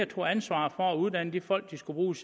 tog ansvaret for at uddanne de folk de skulle bruge